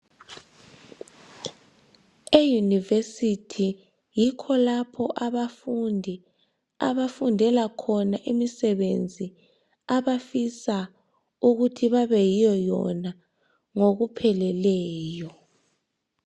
E"University "yikho lapho abafundi abafundela khona imisebenzi abafisa ukuthi babeyiyo yona ngokupheleleyo.